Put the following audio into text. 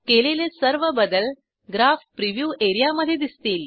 केलेले सर्व बदल ग्राफ प्रिव्ह्यू एआरईए मधे दिसतील